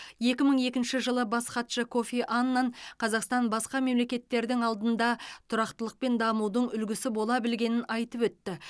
екі мың екінші жылы бас хатшы кофи аннан қазақстан басқа мемлекеттердің алдында тұрақтылық пен дамудың үлгісі бола білгенін айтып өтті